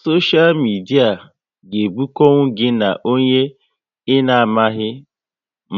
Soshia midia ga ebukonwu gị na onye ị na amaghị